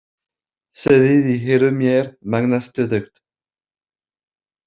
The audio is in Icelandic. Suðið í eyrum mér magnast stöðugt.